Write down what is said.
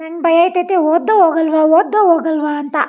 ನಂಗೆ ಭಯ ಆತ್ತತೆ ಓದ್ದೋ ಹೋಗಲ್ಲವೋ ಓದ್ದೋ ಹೋಗಲ್ಲವೋ ಅಂತ.